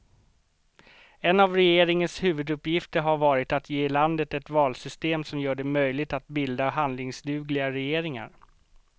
En av regeringens huvuduppgifter har varit att ge landet ett valsystem som gör det möjligt att bilda handlingsdugliga regeringar.